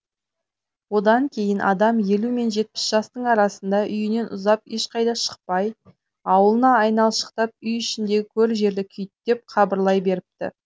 одан кейін адам елу мен жетпіс жастың арасында үйінен ұзап ешқайда шықпай аулына айналшықтап үй ішіндегі көр жерді күйіттеп қабырлай беріпті